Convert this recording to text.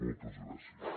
moltes gràcies